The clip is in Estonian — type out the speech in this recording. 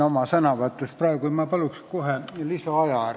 Ma palun kohe lisaaega!